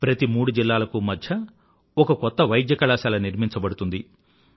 ప్రతి మూడు జిల్లాలకూ మధ్య ఒక కొత్త వైద్య కళాశాల నిర్మించబడుతుంది